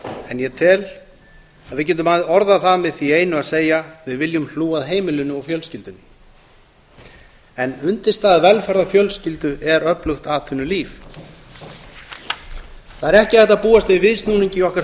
en ég tel að við getum orðað það með því einu að segja við viljum hlúa að heimilinu og fjölskyldunni en undirstaða velferðar fjölskyldu er öflugt atvinnulíf það er ekki hægt að búast við viðsnúningi í okkar